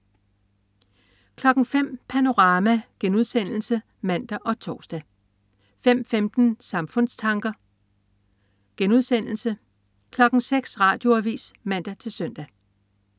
05.00 Panorama* (man og tors) 05.15 Samfundstanker* 06.00 Radioavis (man-søn)